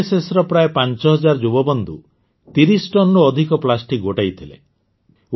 ଏନ୍ଏସ୍ଏସର ପ୍ରାୟ ୫୦୦୦ ଯୁବବନ୍ଧୁ ୩୦ ଟନରୁ ଅଧିକ ପ୍ଲାଷ୍ଟିକ୍ ଗୋଟାଇଥିଲେ